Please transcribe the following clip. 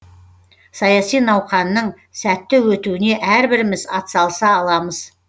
саяси науқанның сәтті өтуіне әрбіріміз атсалыса аламыз